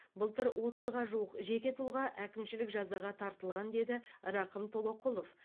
былтыр отызға жуық жеке тұлға әкімшілік жазаға тартылған деді рақым толоқұлов